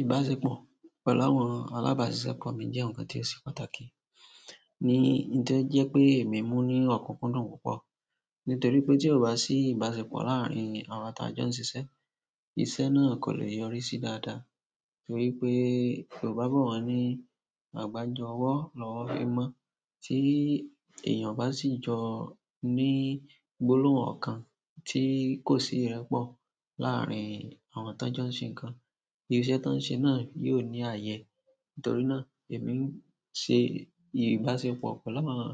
Ìbáṣepọ̀ pẹ̀lú àwọn alabasisepo mi je nkan ti o se pàtàkì, ni ti o je pe emi mu ni okunkundun púpọ̀. Nítorí pé tí ò bá sí ìbáṣepọ̀ láàárín àwọn ta jọ ń ṣisé, iṣẹ́ náà kò lè yọrí sí dáadáa. Torí pé yobá bo, won ní àgbájọwó lọ́wọ́ fí n mọ́, tí èèyàn bá sì jọ ní gbólóhùn ọ̀kan tí kò sí ìrẹ́pọ̀ láàárín àwọn tá jọ ń ṣe nǹkan, irú iṣẹ́ ti won ṣe náà yóò ní ààyè. Nítorí náà èmi ń ṣe ìbáṣepọ̀ pẹ̀lú àwọn